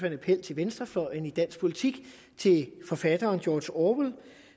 en appel til venstrefløjen i dansk politik til forfatteren george orwell